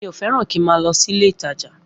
Mi o fẹ́ràn kí má lọ sílé ìtajà